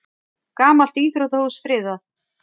Gamalt íþróttahús friðað